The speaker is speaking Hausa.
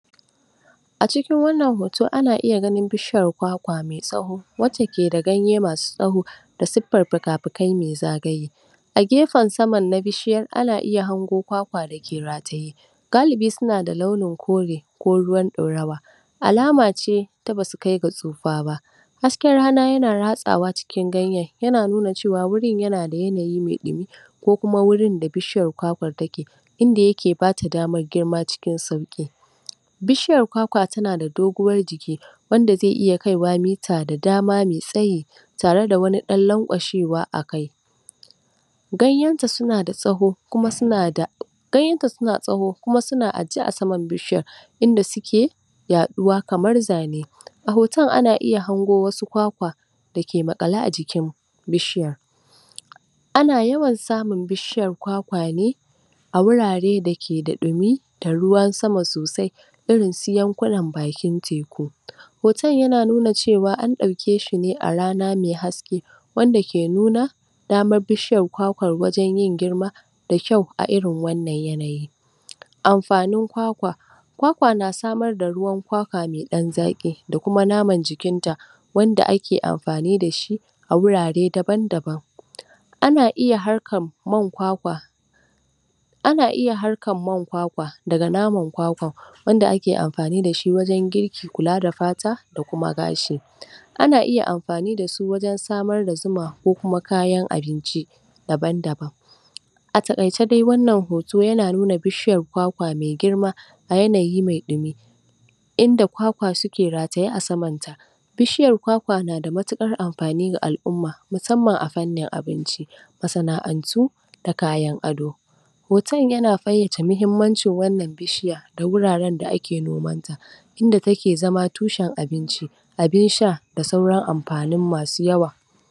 A cikin wannan hoto ana iya ganin bishiyar kwakwa mai tsawo wacce ke da ganye masu tsawo da siffar fuka fukai mai zagaye. gefen saman na bishiyar ana iya hango kwakwa da ke rataye galibi suna da launin kore ko ruwan ɗorawa. Alama ce ta ba su kai ga tsufa ba. Hasken rana yana ratsawa cikin ganyen yana nuna cewa wurin yana da yanayi mai kyau ko kuma wurin da bishiyar kwakwan ya ke ke bata damar girma cikin sauƙi. Bishiyar kwakwa tana da doguwar jiki wanda zai iya kaiwa mita da dama mai tsayi tareda wani dan lankwashewa mai tsayi Ganyenta suna da tsawo kuma suna ganyenta suna da tsawo kuma suna a je a saman bishiyan inda suke yaɗuwa kamar zane. A hoton ana iya hango wassu kwakwa da ke maƙale a jikin bishiyar A na yawan samun bishiyar kwakwa ne a wurare da ke da ɗumi da ruwan sama sosai irin su yankunan bakin teku. Hoton yana nuna cewa an ɗauke shi ne a rana mai haske wanda ke nuna damar bishiyan kwakwan ke yin girma mai kyau cikin wannan yanayi. amfanin kwakwa wakwa na samar da ruwan kwakwa mai ɗan daɗi da naman jikin ta wanda ake amfani da shi a wurare daban daban. ana iya harkan man kwakwa Ana iya harkar man kwakwa daga naman kwakwan wanda ake amfani da shi wajen girki, kula da fata da kuma gashi. Ana iya amfani da shi wajen samar da zuma ko kuma kayan abinci daban daban A takaice dai wannan hoto na nuna bishiyar kwakwa mai girma a yanayi mai dumi inda kwakwa ke rataye a sama Bishiyar kwakwa na da matukar amfani ga alʼumma musamman a fannin abinci, masana'antu da kayan ado Hoton yana fayyace muhimmanci wannan bishiya ta wuraren da ake nomanta inda take zama tushen abinci abin sha da sauran amfani masu yawa.